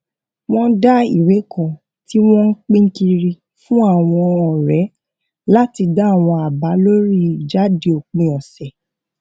wọn dá ìwé kan tí wọn ń pín kiri fún àwọn ọrẹ láti dá àwọn àbá lórí ìjáde òpin ọsẹ